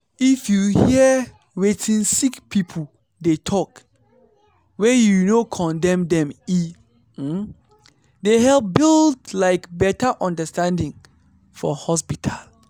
if your hear wetin sick people dey talk wey you no condemn dem e um dey help build like better understanding for hospital